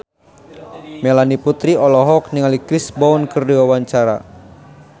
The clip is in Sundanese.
Melanie Putri olohok ningali Chris Brown keur diwawancara